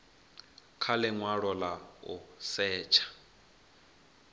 kha linwalo la u setsha